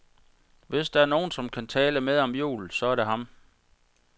Hvis der er nogen som kan tale med om jul, så er det ham.